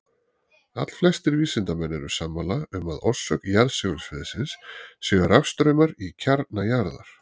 Allflestir vísindamenn eru sammála um að orsök jarðsegulsviðsins séu rafstraumar í kjarna jarðar.